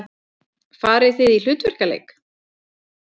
Farið þið í hlutverkaleik?